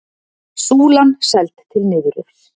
Súlan seld til niðurrifs